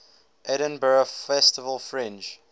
edinburgh festival fringe